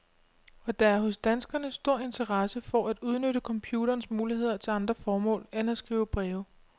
Og der er hos danskerne stor interesse for at udnytte computerens muligheder til andre formål end at skrive breve.